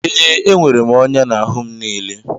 e, enwere m ọnya n'ahụ m niile